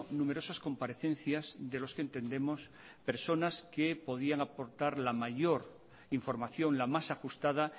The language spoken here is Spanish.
numerosas comparecencias de los que entendemos personas que podían aportar la mayor información la más ajustada